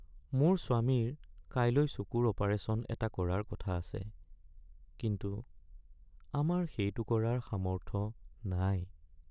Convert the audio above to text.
মোৰ স্বামীৰ কাইলৈ চকুৰ অপাৰেশ্যন এটা কৰাৰ কথা আছে কিন্তু আমাৰ সেইটো কৰাৰ সামৰ্থ নাই।